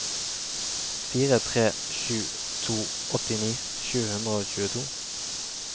fire tre sju to åttini sju hundre og tjueto